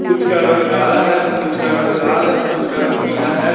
कुछ का रंग काला है तो कुछ का रंग लाल है तो कुछ का रंग पीला है।